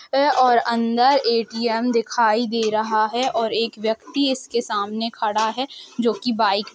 और अंदर ए.टी.एम दिखाई दे रहा है और एक व्यक्ति इसके सामने खड़ा है जो कि बाइक --